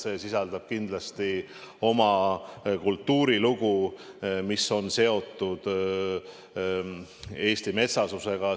See sisaldab kindlasti kultuurilugu, mis on seotud Eesti metsasusega.